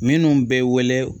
Minnu bɛ wele